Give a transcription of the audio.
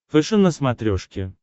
фэшен на смотрешке